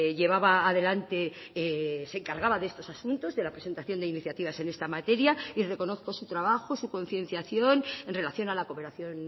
llevaba adelante se encargaba de estos asuntos de la presentación de iniciativas en esta materia y reconozco su trabajo su concienciación en relación a la cooperación